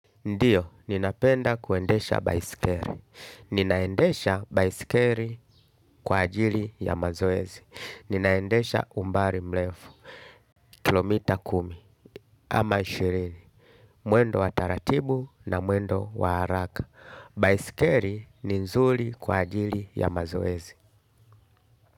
Ndiyo ninapenda kuendesha baisikeli. Ninaendesha baiskeli kwa ajili ya mazoezi. Ninaendesha umbali mrefu, kilomita kumi ama ishirini. Mwendo wa taratibu na mwendo wa haraka. Baiskeli ni nzuri kwa ajili ya mazoezi.